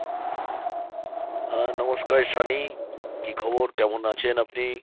হ্যাঁ নমস্কার সানি। কি খবর কেমন আছেন আপনি?